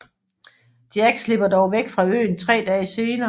Jack slipper dog væk fra øen 3 dage senere